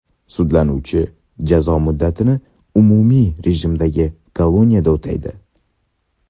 Sudlanuvchi jazo muddatini umumiy rejimdagi koloniyada o‘taydi.